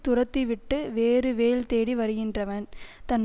துரத்தி விட்டு வேறு வேல் தேடி வருகின்றவன் தன்